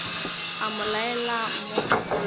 a mo laela mo sekolong